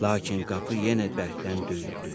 Lakin qapı yenə bərkdən döyüldü.